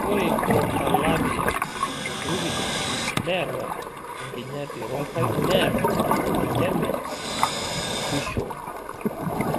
Ore Crotalaria brevidens neata enkinyati ronkai neata olchamei oswishoo.